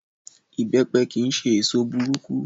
Ìbẹ́pe kí n ṣe èso burúkú.